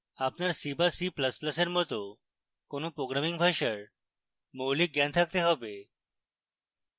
আপনার c বা c ++ এর মত কোনো programming ভাষার মৌলিক জ্ঞান থাকতে have